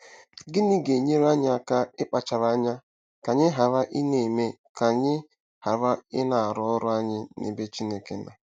Gịnị ga-enyere anyị aka ịkpachara anya ka anyị ghara ịna-eme ka anyị ghara ịna-arụ ọrụ anyị n’ebe Chineke nọ?